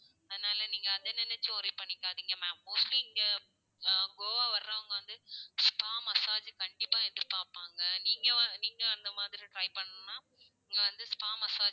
அதனால நீங்க அதை நினைச்சு worry பண்ணிக்காதீங்க ma'am mostly இங்க ஆஹ் கோவா வர்றவங்க வந்து spa massage கண்டிப்பா எதிர்ப்பார்ப்பாங்க. நீங்க நீங்க அந்த மாதிரி try பண்ணணும்னா இங்க வந்து spa massage